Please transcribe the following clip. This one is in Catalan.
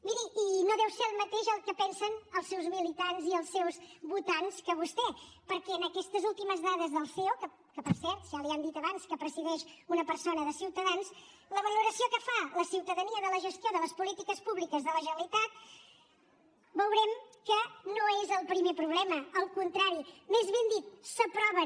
miri i no deu ser el mateix el que pensen els seus militants i els seus votants que vostè perquè en aquestes últimes dades del ceo per cert ja l’hi han dit abans que presideix una persona de ciutadans en la valoració que fa la ciutadania de la gestió de les polítiques públiques de la generalitat veurem que no és el primer problema al contrari més ben dit s’aproven